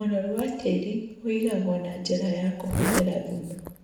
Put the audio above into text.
ũnoru wa tĩri wĩigagwo na njĩra kũhũthĩra thumu.